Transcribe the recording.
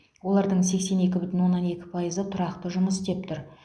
олардың сексен екі бүтін оннан екі пайызы тұрақты жұмыс істеп тұр